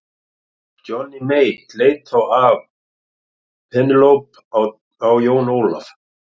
Johnny Mate leit þá af Penélope á Jón Ólaf.